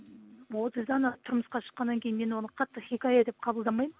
отыздан асып тұрмысқа шыққаннан кейін мен оны қатты хикая деп қабылдамаймын